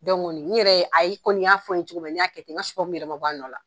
n yɛrɛ ye ayi, i kɔni y'a fɔ n ye cogo min na n y'a kɛ ten n ka yɛrɛ ma bɔ. A nnɔ la